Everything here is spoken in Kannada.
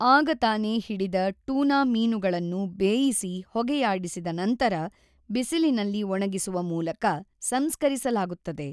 ಆಗ ತಾನೇ ಹಿಡಿದ ಟೂನಾ ಮೀನುಗಳನ್ನು ಬೇಯಿಸಿ ಹೊಗೆಯಾಡಿಸಿದ ನಂತರ ಬಿಸಿಲಿನಲ್ಲಿ ಒಣಗಿಸುವ ಮೂಲಕ ಸಂಸ್ಕರಿಸಲಾಗುತ್ತದೆ.